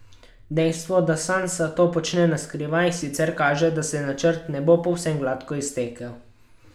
Dejstvo, da Sansa to počne na skrivaj, sicer kaže, da se načrt ne bo povsem gladko iztekel.